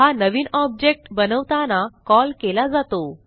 हा नवीन ऑब्जेक्ट बनवताना कॉल केला जातो